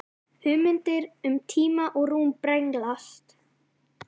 Hugmyndir um tíma og rúm brenglast.